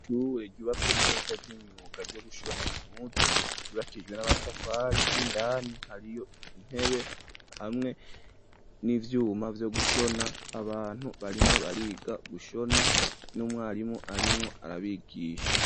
Ishure ryubatswe neza ry'imyuga ryo gushona impuzu ryubakishijwe n'amatafari indani hariyo intebe hamwe n'ivyuma vyo gushona abantu barimwo bariga gushona n'umwarimu arimwo arabigisha.